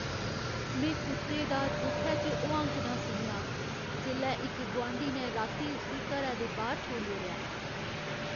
में कुत्ते दा दुखै च हुआंकना सुनेआ जेल्लै इक गुआंढी ने राती उस्सी घरै दे बाह्‌र छोड़ी ओड़ेआ।